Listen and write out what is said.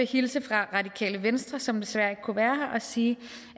hilse fra radikale venstre som desværre ikke kunne være her og sige